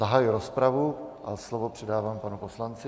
Zahajuji rozpravu a slovo předávám panu poslanci.